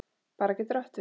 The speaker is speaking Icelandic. Bera getur átt við